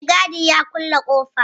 Mai gadi ya kulle ƙofa